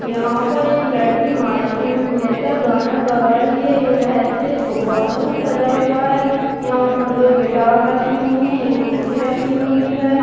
यहाँ पर एक लड़की माइक ले कर गाना गा रही है एवं यह स्टेज गुब्बारों से सजा हुआ हैं यहाँ पर दो गिटार रखी हुई हैं एक कुर्शी रखी हुई है ।